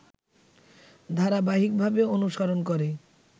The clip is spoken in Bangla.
ধারাবাহিকভাবে অনুসরণ করে